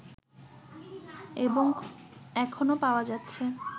এবং এখনও পাওয়া যাচ্ছে